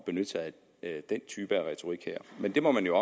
benytte sig af den type af retorik men det må man jo